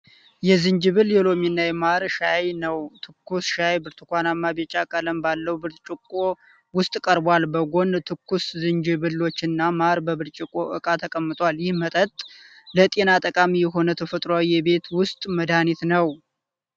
የዝንጅብል፣ የሎሚና የማር ሻይ ነው። ትኩስ ሻዩ ብርሃንማ ቢጫ ቀለም ባለው ብርጭቆ ውስጥ ቀርቧል። በጎን ትኩስ ዝንጅብሎች እና ማር በብርጭቆ ዕቃ ተቀምጧል። ይህ መጠጥ ለጤና ጠቃሚ የሆነ ተፈጥሯዊ የቤት ውስጥ መድኃኒት ነው።